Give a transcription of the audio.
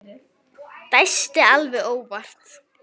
Dæsti alveg óvart.